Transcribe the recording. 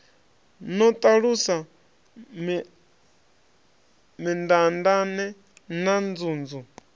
no ṱalusa mindaandaane na nzunzu